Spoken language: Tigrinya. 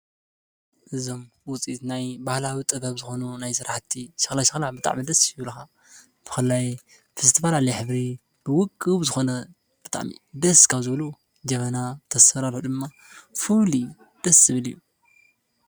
እዞም ውፅኢት ናይ ባህላዊ ጥበብ ዝኮኑ ናይ ስራሕቲ ሸኽላ ሸኽላ ብጣዕሚ ደስ ይብሉኻ። ብፍላይ ዝተፈላለየ ሕብሪ ብዉቁብ ዝኮነ ብጣዕሚ ደስ ካብ ዝብሉ ጀበና ኣሰራርሕኡ ድማ ፍሉይ ደስ ዝብል እዩ።